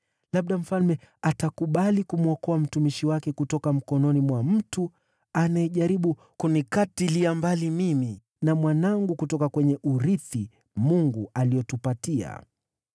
Labda mfalme atakubali kumwokoa mtumishi wake kutoka mkononi mwa mtu anayejaribu kunikatilia mbali, mimi na mwanangu, kutoka kwenye urithi Mungu aliotupatia.’